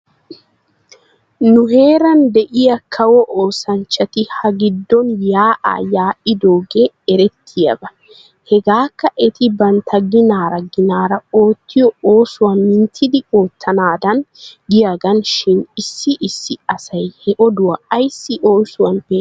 Nu heeran de'iyaa kawo oosanchchatti ha giddon yaa'aa yaa'idoogee erettiyaaba. Hegeekka eti bantta ginaara ginaara oottiyoo oosuwaa minttidi ootanaadan giyaagaana shin issi issi asay he oduwaa ayssi oosuwan peeshshenne?